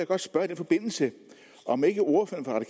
godt spørge i den forbindelse om ikke ordføreren